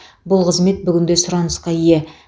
бұл қызмет бүгінде сұранысқа ие